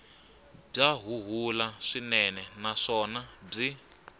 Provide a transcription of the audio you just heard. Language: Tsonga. bya huhula swinene naswona byi